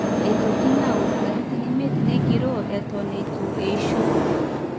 eitokini aaud katitin imiet negiroo eton eitu eisho